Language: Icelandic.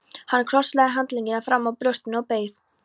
Hann krosslagði handleggina framan á brjóstinu og beið.